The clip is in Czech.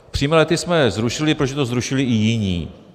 Přímé lety jsme zrušili, protože to zrušili i jiní.